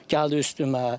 Gəldi üstümə.